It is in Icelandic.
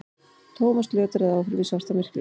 Thomas lötraði áfram í svartamyrkri.